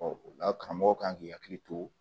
o la karamɔgɔ kan k'i hakili to